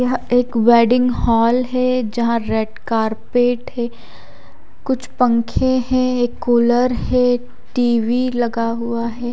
यह एक wedding hall है जहां रेड कारपेट है कुछ पंखे है एक कूलर है टी_वी लगा हुआ है।